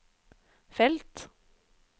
felt